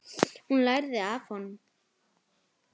Hún lærði af honum.